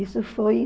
Isso foi